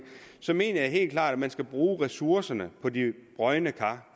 så jeg mener helt klart at man skal bruge ressourcerne på de brodne kar